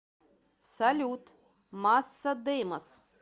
салют масса деймос